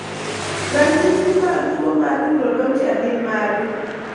Ranyisi mag tuo mar Taurodontia gin mage?